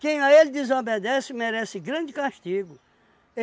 Quem a ele desobedece merece grande castigo.